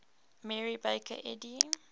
mary baker eddy